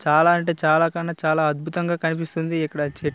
చాలా అంటే చాలా కన్నా చాలా అద్భుతంగా కనిపిస్తుంది ఇక్కడ చే --